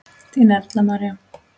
Þín Erla María.